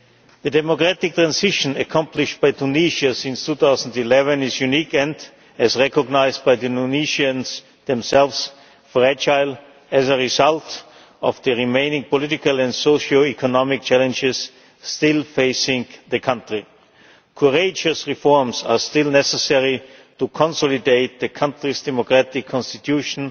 The democratic transition accomplished by Tunisia since 2011 is unique and, as recognised by the Tunisians themselves, fragile as a result of the remaining political and socio economic challenges still facing the country. Courageous reforms are still necessary to consolidate the country's democratic constitution